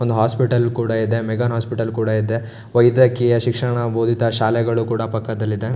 ಒಂದು ಹಾಸ್ಪಿಟಲ್ ಕೂಡ ಇದೆ ಮೆಗಾನ್ ಹಾಸ್ಪಿಟಲ್ ಕೂಡ ಇದೆ ವ್ಯದ್ಯಕೀಯ ಶಿಕ್ಷಣ ಬೋಧಿತ ಶಾಲೆಗಳು ಕೂಡ ಪಕ್ಕದಲ್ಲಿ ಇದೆ.